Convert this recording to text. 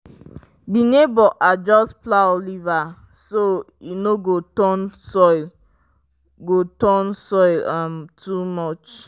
my neighbor adjust plow lever so e no go turn soil go turn soil um too much.